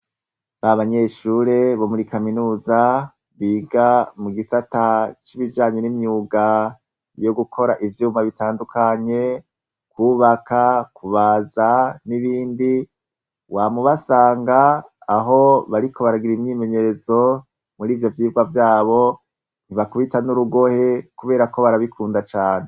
Abanyeshure bomuri kaminuza biga mugisatcibijanye nimyuga yugukora ivyuma bitandukanye kubaka kubaza nibindi wamubasanga aho bariko baragira imwimenyerezo murivyo vyirwa vyabo ntibakubita nurugohe kubera barabikunda cane